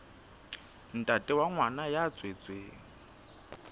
ntate wa ngwana ya tswetsweng